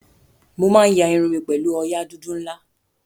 Mo máa ń ya irun mi pẹ̀lú òòyà dúdú ńlá.